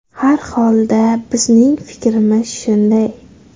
Har holda bizning fikrimiz shunday.